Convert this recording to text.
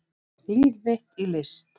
Líf mitt í list